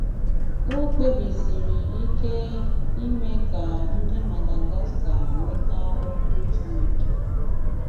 Ọ̀ kpèbìsìrí ìkè ime ka ndị Madagascar nwètà Okwu Chínèké.